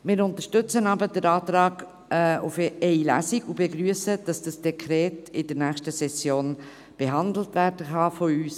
Wir unterstützen aber den Antrag auf eine Lesung und begrüssen, dass das Dekret in der nächsten Session von uns allen behandelt werden kann.